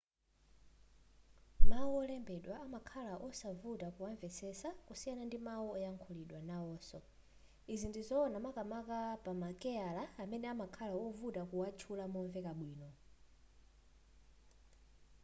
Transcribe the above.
mawu olembedwa amakhala osavuta kuwamvetsetsa kusiyana ndi mawu oyankhulidwa nawonso izi ndizowona makamaka pama keyala amene amakhala ovuta kuwatchula momveka bwino